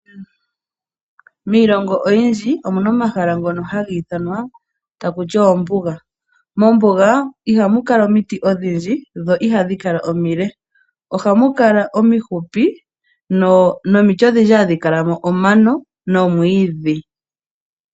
Miilongo oyindji omuna omahala ngono haga ithanwa taku ti ombuga. Mombuga ihamu kala omiti odhindji, dho ihadhi kala omile, ohamu kala omifupi nomiti odhindji hadhi kala mo omano nomwiidhi.